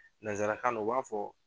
Nanzarakan na u b'a fɔ